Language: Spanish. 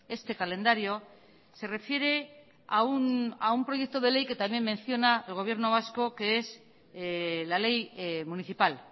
este calendario se refiere a un proyecto de ley que también menciona el gobierno vasco que es la ley municipal